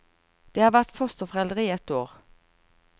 De har vært fosterforeldre i ett år.